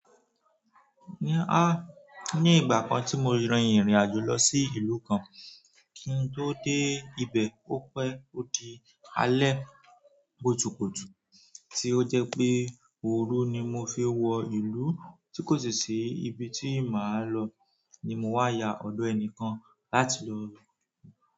Ní à, ní ìgbà kan tí mo rìn ìrìn àjò lọ sí ìlú kan, kí n tó dé ibẹ̀, ó pẹ́ ó di alẹ́ kùtùkùtù, tí ó jẹ́ pé ooru ni mo fi wọ ìlú tí kò sì ibi tí màá lọ, ni mo wá ya ọ̀dọ̀ ẹnìkan láti lòò.